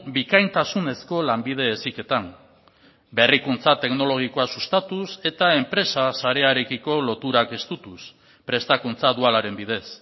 bikaintasunezko lanbide heziketan berrikuntza teknologikoa sustatuz eta enpresa sarearekiko loturak estutuz prestakuntza dualaren bidez